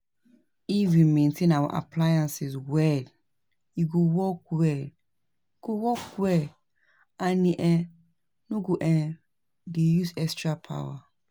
if we maintain our appliances well, e go work well go work well and e um no go um dey use extra power